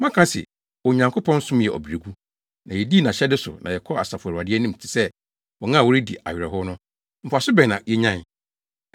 “Moaka se, ‘Onyankopɔn som yɛ ɔbrɛgu, na yedii nʼahyɛde so na yɛkɔɔ Asafo Awurade anim te sɛ wɔn a wɔredi awerɛhow no, mfaso bɛn na yenyae?